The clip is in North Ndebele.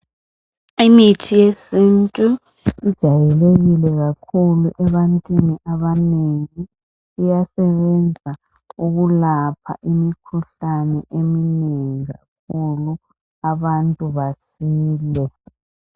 Imithi yesintu ijayelekile kakhulu ebantwini abanengi. Iyasebenza ukulapha imikhuhlane eminengi kakhulu abantu basile.